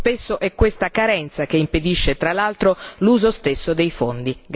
Spesso è questa carenza che impedisce tra l'altro l'uso stesso dei fondi.